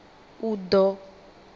uḓo